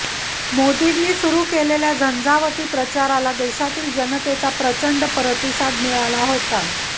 मोदींनी सुरू केलेल्या झंजावाती प्रचाराला देशातील जनतेचा प्रचंड प्रतिसाद मिळत होता